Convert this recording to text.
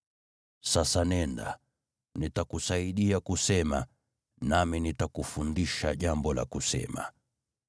Sasa nenda, nitakusaidia kusema, nami nitakufundisha jambo la kusema.”